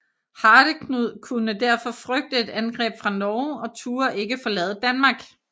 Hardeknud kunne derfor frygte et angreb fra Norge og turde ikke forlade Danmark